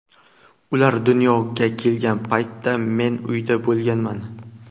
Ular dunyoga kelgan paytda men uyda bo‘lganman.